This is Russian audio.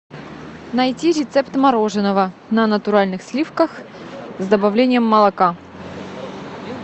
найти рецепт мороженного на натуральных сливках с добавлением молока